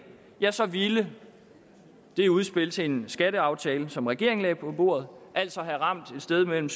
ja så ville det udspil til en skatteaftale som regeringen lagde på bordet altså have ramt et sted mellem